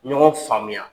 Ɲɔgɔn faamuya